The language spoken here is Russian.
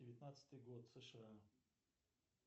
девятнадцатый год сша